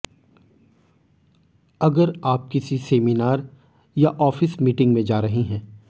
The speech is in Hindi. अगर आप किसी सेमिनार या ऑफिस मीटिंग में जा रही हैं